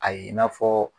A ye i n'a fɔ